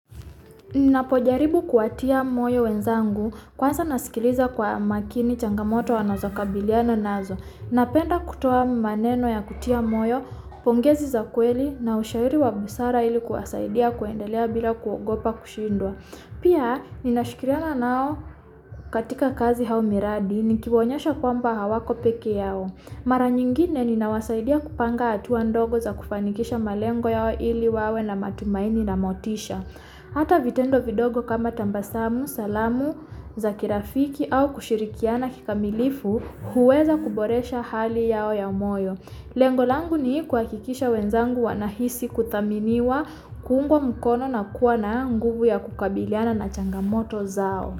Ninapojaribu kuwatia moyo wenzangu, kwanza nasikiliza kwa makini changamoto wanozokabiliana nazo. Napenda kutoa maneno ya kutia moyo, pongezi za kweli na ushauri wa busara ili kuwasaidia kwendelea bila kuogopa kushindwa. Pia ninashikiriana nao katika kazi au miradi, nikiwaonyesha kwamba hawako pekee yao. Mara nyingine ninawasaidiya kupanga hatua ndogo za kufanikisha malengo yao ili wawe na matumaini na motisha. Hata vitendo vidogo kama tabasamu, salamu, za kirafiki au kushirikiana kikamilifu, huweza kuboresha hali yao ya moyo. Lengo langu ni kuhakikisha wenzangu wanahisi kuthaminiwa kuungwa mkono na kuwa na nguvu ya kukabiliana na changamoto zao.